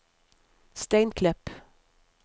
Steinklepp